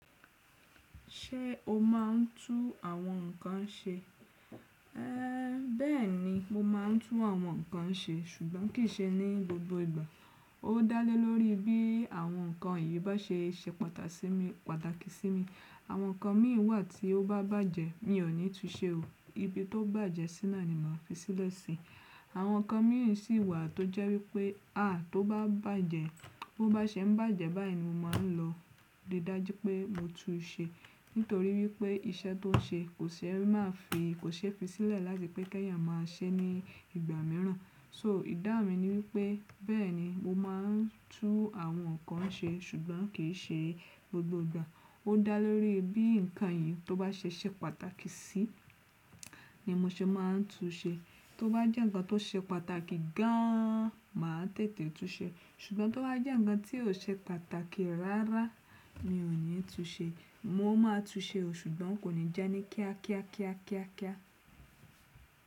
Ṣé o máa ń tú àwọn nǹkan ṣe? Éè bẹ́ẹ̀ni mo máa ń tú àwọn nǹkan ṣe ṣùgbọ́n kì í ṣe ní gbogbo ìgbà. Ó dá lé lórí bí àwọn nǹkan yìí bá ṣe ṣe pàtàkì sí mi. Àwọn nǹkan míì wà tí ó bá bàjẹ́ mi ò ní tú u ṣe o. Ibi tó bàjẹ́ sí náà ni màá fi sílẹ̀ si. Àwọn nǹkan míì sì wà tó jẹ́ wípé á tó bá bàjẹ́, bó bá ṣe ń bàjẹ́ báyìí ni mo máa ń lọ rí i dájú pé mo tú u ṣe. Nítorí wípé iṣẹ́ tó ń ṣe kò ṣe ẹ́ máa fi, kò ṣe é fi sílẹ̀ láti pé ki ẹ́yàn máa ṣe é ní ìgbà mìíràn. So ìdáhun mi ni wípé bẹ́ẹ̀ni mo máa ń tú àwọn nǹkan ṣe ṣùgbọ́n kì í ṣe gbogbo ìgbà. Ó dá lé lórí bí nǹkan yìí tó bá ṣe ṣe pàtàkì sí ni mo ṣe máa ń tú ṣe. Tó bá jẹ́ nǹkan tó ṣe pàtàkì gan an máa tètè tú ṣe. Ṣùgbọ́n tó bá jẹ́ nǹkan tí ò ṣe pàtàkì rárá mi ò ní tú ṣe. Mo máa tú ṣe o ṣùgbọ́n kò ní jẹ́ ní kíá kíá kíá kíá kíá.